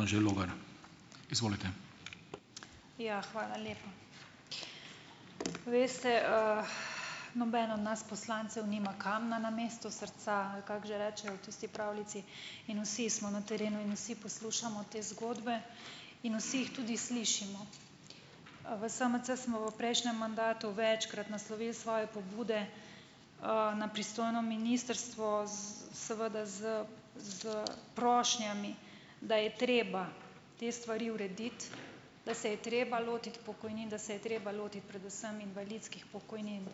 Anže Logar, izvolite. Ja, hvala lepa, veste, noben od nas poslancev nima kamna namesto srca, ali kako že rečejo v tisti pravljici, in vsi smo na terenu in vsi poslušamo te zgodbe in vsi jih tudi slišimo, v SMC smo v prejšnjem mandatu večkrat naslovili svoje pobude, na pristojno ministrstvo seveda s, s prošnjami da je treba te stvari urediti, da se je treba lotiti pokojnin, da se je treba lotiti predvsem invalidskih pokojnin,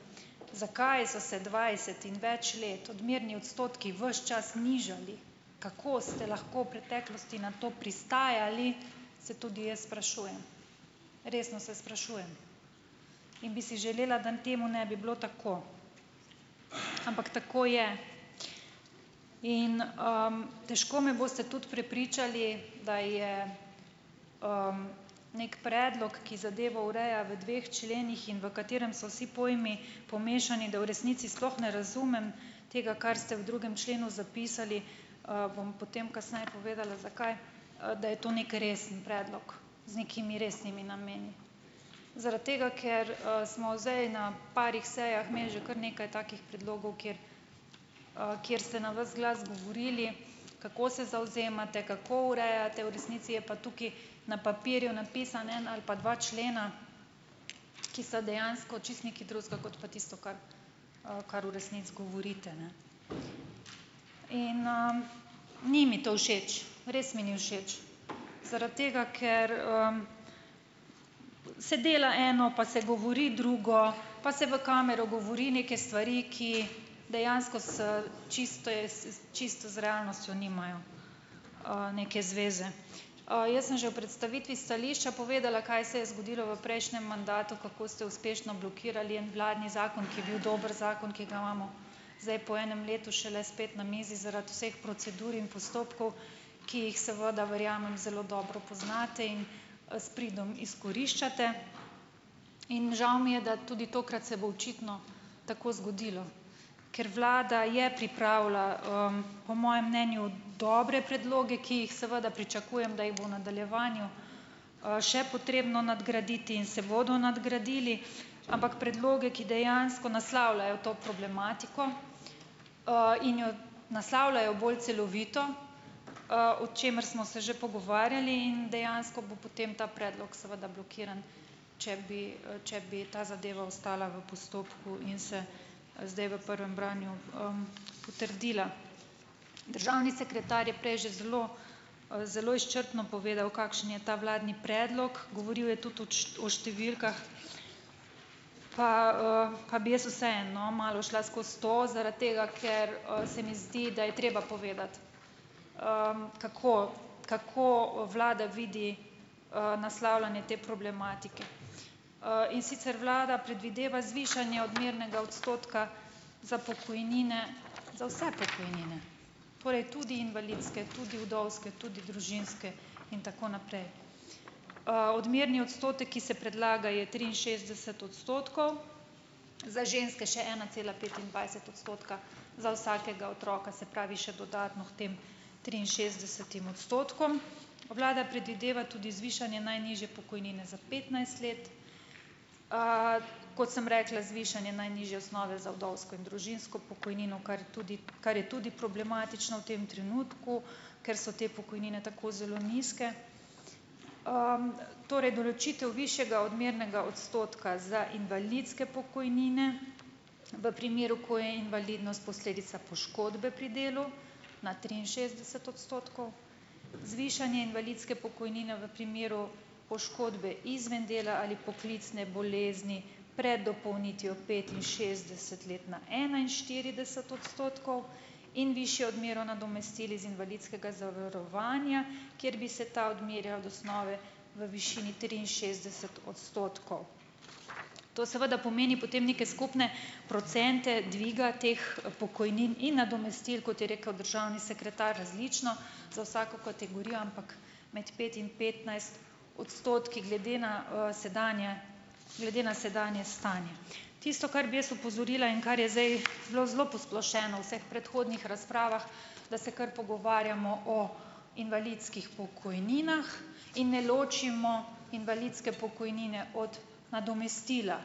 zakaj so se dvajset in več let odmerni odstotki ves čas nižali, kako ste lahko v preteklosti na to pristajali, se tudi jaz sprašujem, resno se sprašujem, in bi si želela dan temu ne bi bilo tako, ampak tako je, in, težko me boste tudi prepričali da je, neki predlog, ki zadevo ureja v dveh členih, v katerem so si pojmi pomešani, da v resnici sploh ne razumem tega, kar ste v drugem členu zapisali, bom potem kasneje povedala zakaj, da je to neki resen predlog z nekimi resnimi nameni, zaradi tega ker, smo zdaj na parih sejah imeli že kar nekaj takih predlogov, kjer, kjer ste na ves glas govorili, kako se zavzemate, kako urejate, v resnici je pa tukaj na papirju napisan en ali pa dva člena, ki sta dejansko čisto nekaj drugega kot pa tisto, kar, kar v resnici govorite, ne, in, ni mi to všeč, res mi ni všeč, zaradi tega, ker, se dela eno, pa se govori drugo, pa se v kamero govori neke stvari, ki dejansko s čisto čisto z realnostjo nimajo, neke zveze, jaz sem že v predstavitvi stališča povedala, kaj se je zgodilo v prejšnjem mandatu, kako ste uspešno blokirali en vladni zakon, ki je bil dober zakon, ki ga imamo zdaj po enem letu šele spet na mizi zaradi vseh procedur in postopkov, ki jih seveda, verjamem, zelo dobro poznate in, s pridom izkoriščate in žal mi, da tudi tokrat se bo očitno tako zgodilo, ker vlada je pripravila, po mojem mnenju dobre predloge, ki jih seveda pričakujem, da jih bo v nadaljevanju, še potrebno nadgraditi in se bodo nadgradili, ampak predloge, ki dejansko naslavljajo to problematiko, in jo naslavljajo bolj celovito, o čemer smo se že pogovarjali, in dejansko bo potem ta predlog seveda blokiran, če bi, če bi ta zadeva ostala v postopku in se, zdaj v prvem branju, potrdila, državni sekretar je prej že zelo, zelo izčrpno povedal, kakšen je ta vladni predlog, govoril je o številkah, pa, pa bi jaz vseeno, no, malo šla skozi to, zaradi tega ker, se mi zdi, da je treba povedati, kako, kako vlada vidi, naslavljanje te problematike, in sicer vlada predvideva zvišanje odmernega odstotka za pokojnine za vse pokojnine torej tudi invalidske, tudi vdovske, tudi družinske, in tako naprej, odmerni odstotek, ki se predlaga, je triinšestdeset odstotkov, za ženske še ena cela petindvajset odstotka za vsakega otroka, se pravi, še dodatno k tem triinšestdesetim odstotkom vlada predvideva tudi zvišanje najnižje pokojnine za petnajst let, kot sem rekla, zvišanje najnižje osnove vdovsko in družinsko pokojnino, kar tudi, kar je tudi problematično v tem trenutku, ker so te pokojnine tako zelo nizke, torej določitev višjega odmernega odstotka za invalidske pokojnine v primeru, ko je invalidnost posledica poškodbe pri delu, na triinšestdeset odstotkov, zvišanje invalidske pokojnine v primeru poškodbe izven dela ali poklicne bolezni pred dopolnitvijo petinšestdeset let na enainštirideset odstotkov in višjo odmero nadomestil iz invalidskega zavarovanja, kjer bi se ta odmerjal od osnove v višini triinšestdeset odstotkov, to seveda pomeni potem neke skupne procente dviga teh pokojnin in nadomestil, kot je rekel državni sekretar različno za vsako kategorijo, ampak med pet in petnajst odstotki glede na, sedanje, glede na sedanje stanje, tisto, kar bi jaz opozorila in kar je zdaj zelo zelo posplošeno v vseh predhodnih razpravah, da se kar pogovarjamo o invalidskih pokojninah in ne ločimo invalidske pokojnine od nadomestila,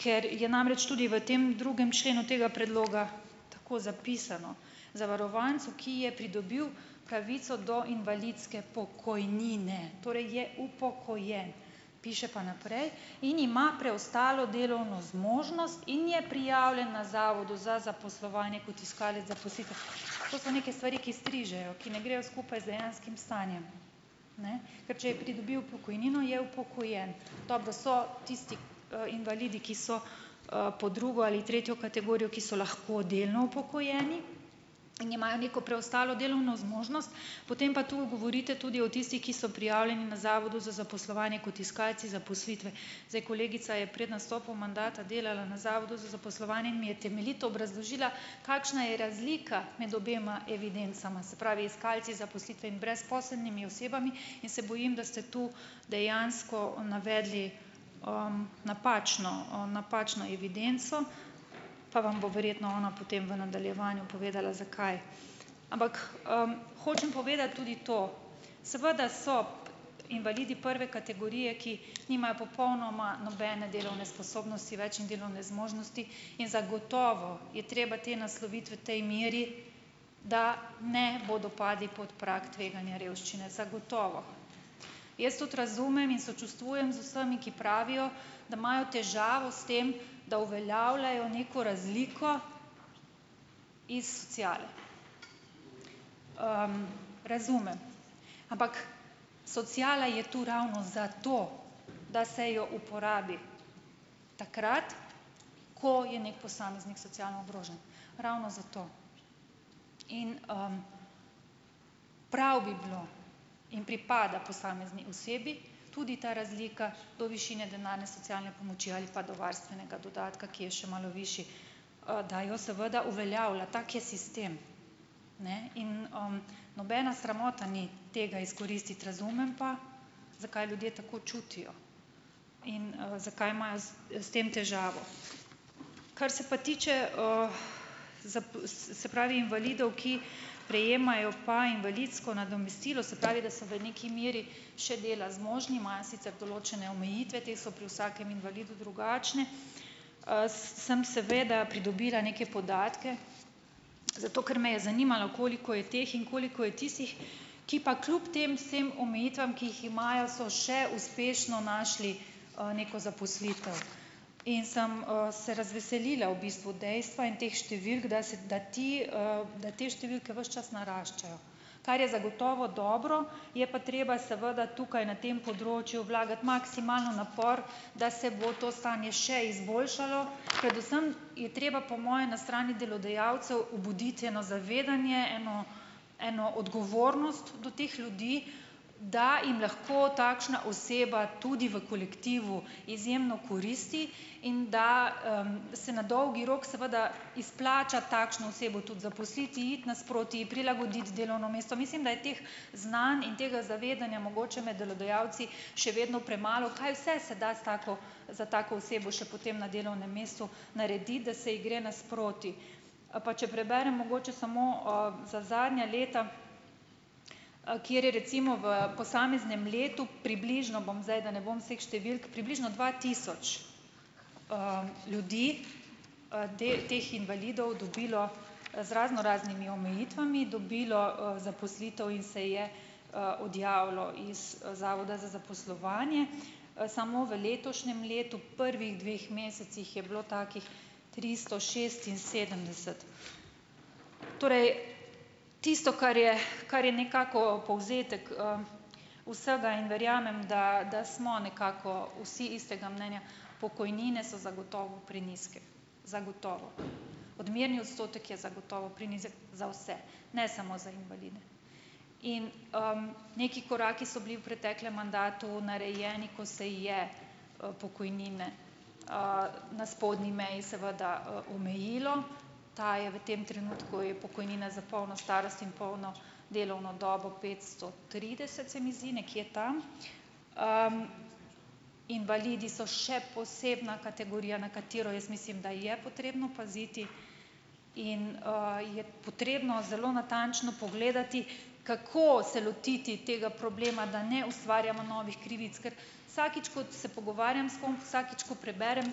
ker je namreč tudi v tem drugem členu tega predloga tako zapisano, zavarovancu, ki je pridobil pravico do invalidske pokojnine, torej je upokojen, piše pa naprej in ima preostalo delovno zmožnost in je prijavljen na zavodu za zaposlovanje kot iskalec zaposlitve, to so neke stvari, ki strižejo, ki ne grejo skupaj z dejanskim stanjem, ne, ker če je pridobil pokojnino, je upokojen, dobro, so tisti, invalidi, ki so, pod drugo ali tretjo kategorijo, ki so lahko delno upokojeni in imajo neko preostalo delovno zmožnost, potem pa tu govorite tudi o tistih, ki so prijavljeni na zavodu za zaposlovanje kot iskalci zaposlitve, zdaj, kolegica je pred nastopom mandata delala na zavodu za zaposlovanje in mi je temeljito obrazložila, kakšna je razlika med obema evidencama, se pravi, iskalci zaposlitve in brezposelnimi osebami, in se bojim, da ste tu dejansko navedli, napačno, o napačno evidenco, pa vam bo verjetno ona potem v nadaljevanju povedala, zakaj, ampak, hočem povedati tudi to, seveda so invalidi prve kategorije, ki nimajo popolnoma nobene delovne sposobnosti več in delovne zmožnosti in zagotovo je treba te nasloviti v tej meri, da ne bodo padli pod prag tveganja revščine, zagotovo, jaz tudi razumem in sočustvujem z vsemi, ki pravijo, da imajo težavo s tem, da uveljavljajo neko razliko iz sociale, razumem, ampak sociala je to ravno za to, da se jo uporabi takrat, ko je neki posameznik socialno ogrožen, ravno zato, in, prav bi bilo in pripada posamezni osebi tudi ta razlika do višine denarne socialne pomoči ali pa do varstvenega dodatka, ki je še malo višji, da jo seveda uveljavlja, tak je sistem, ne in, nobena sramota ni tega izkoristiti, razumem pa, zakaj ljudje tako čutijo in, zakaj imajo s tem težavo, kar se pa tiče, se pravi invalidov, ki prejemajo pa invalidsko nadomestilo, se pravi, da so v neki meri še dela zmožni, imajo sicer določene omejitve, te so pri vsakem invalidu drugačne, sem seveda pridobila neke podatke, zato ker me je zanimalo, koliko je teh in koliko je tistih, ki pa kljub tem vsem omejitvam, ki jih imajo, so še uspešno našli, neko zaposlitev in sem, se razveselila v bistvu dejstva in teh številk, da se da, ti, da te številke ves čas naraščajo, kar je zagotovo dobro, je pa treba seveda tukaj na tem področju vlagati maksimalen napor, da se bo to stanje še izboljšalo, predvsem je treba po moje na strani delodajalcev obuditi eno zavedanje, eno eno odgovornost do teh ljudi, da jim lahko takšna oseba tudi v kolektivu izjemno koristi in da, se na dolgi rok seveda izplača takšno osebo tudi zaposliti, iti nasproti, ji prilagoditi delovno mesto, mislim, da je teh znanj in tega zavedanja mogoče med delodajalci še vedno premalo, kaj vse se, se da s tako, za tako osebo še potem na delovnem mestu narediti, da se ji gre nasproti, pa če preberem mogoče samo, za zadnja leta, kjer je recimo v posameznem letu približno, bom zdaj, da ne bom vseh številk približno dva tisoč, ljudi, teh invalidov dobilo, z raznoraznimi omejitvami dobilo, zaposlitev in se je, odjavilo iz zavoda za zaposlovanje, samo v letošnjem letu prvih dveh mesecih je bilo takih tristo šest in sedemdeset, torej tisto, kar je, kar je nekako povzetek, vsega in verjamem, da, da smo nekako vsi istega mnenja, pokojnine so zagotovo prenizke, zagotovo odmerni odstotek je zagotovo prenizek za vse, ne samo za invalide in, neki koraki so bili v preteklem mandatu narejeni, ko se je, pokojnine, na spodnji meji seveda, omejilo, ta je v tem trenutku je pokojnina za polno starost in polno delovno dobo petsto trideset, se mi zdi nekje tam, invalidi so še posebna kategorija, na katero jaz mislim, da je potrebno paziti in, je potrebno zelo natančno pogledati, kako se lotiti tega problema, da ne ustvarjamo novih krivic, kar vsakič, ko se pogovarjam s kom, vsakič, ko preberem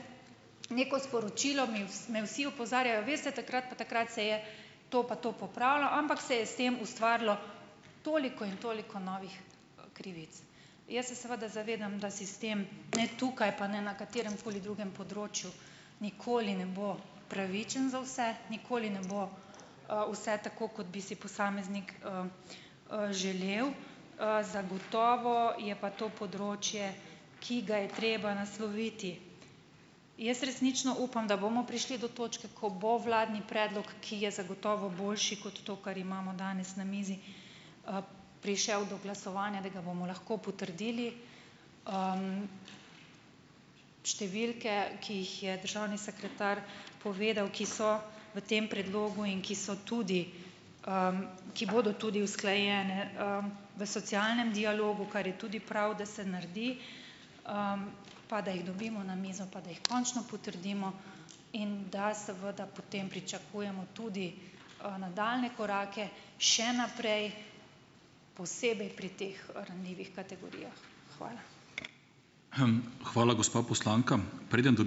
neko sporočilo, me vsi opozarjajo: "Veste, takrat pa takrat se je to pa to popravilo, ampak se je s tem ustvarilo toliko in toliko novih, krivic." Jaz se seveda zavedam, da sistem ne tukaj pa ne na katerem koli drugem področju nikoli ne bo pravičen za vse, nikoli ne bo, vse tako, kot bi si posameznik, želel, zagotovo je pa to področje, ki ga je treba nasloviti. Jaz resnično upam, da bomo prišli do točke, ko bo vladni predlog, ki je zagotovo boljši kot to, kar imamo danes na mizi, prišel do glasovanja, da ga bomo lahko potrdili, številke, ki jih je državni sekretar povedal, ki so v tem predlogu in ki so tudi, ki bodo tudi usklajene, v socialnem dialogu, kar je tudi prav, da se naredi, pa da jih dobimo na mizo pa da jih končno potrdimo, in da seveda potem pričakujemo tudi, nadaljnje korake še naprej, posebej pri teh ranljivih kategorijah. Hvala. Hvala, gospa poslanka, preden ...